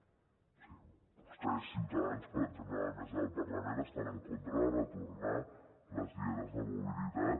o sigui vostès ciutadans per exemple a la mesa del parlament estan en contra de retornar les dietes de mobilitat